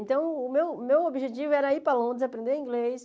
Então, o meu o meu objetivo era ir para Londres, aprender inglês.